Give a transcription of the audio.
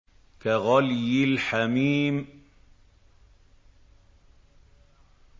كَغَلْيِ الْحَمِيمِ